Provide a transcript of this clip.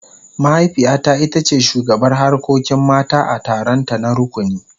Mahaifiyata ita ce shugabar harkokin mata a taronta na rukuni.